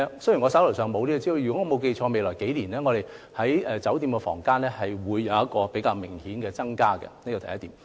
雖然我手上沒有這方面的資料，如果沒有記錯，酒店房間的供應在未來數年將會有較明顯的增加，這是第一點。